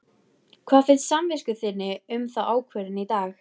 Hvað finnst samvisku þinni um þá ákvörðun í dag?